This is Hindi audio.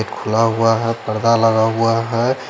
एक खुला हुआ है पर्दा लगा हुआ है।